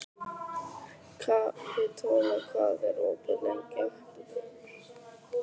Kapitola, hvað er opið lengi á fimmtudaginn?